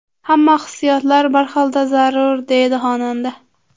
Hamma hissiyotlar biz xilda zarur”, − deydi xonanda.